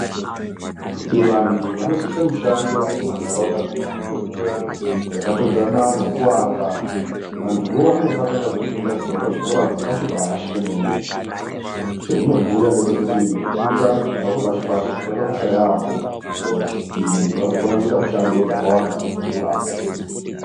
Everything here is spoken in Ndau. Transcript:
Kuti vantu vanozoita mushando mumantaraunda mwedu muya yakatodzana nokuaka, vantuvo vanonga vakatanga kufunda kubva pazvikora zvepashi-pashi pemene mene .Chazvinobhuya ngechekuti kufunda kubva kwepashi-pashi kwakakosha yaamho kuzoti muntu azokona kuita mishando dzakawanda azokurapo.